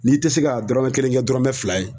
N'i tɛ se ka dɔrɔmɛ kelen kɛ dɔrɔmɛ fila ye